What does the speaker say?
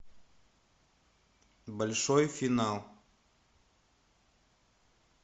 большой финал